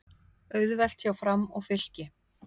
Auðvelt hjá Fram og Fylki